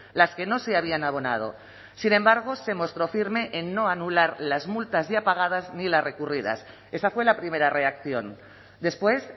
las que no se habían abonado sin embargo se mostró firme en no anular las multas ya pagadas ni las recurridas esa fue la primera reacción después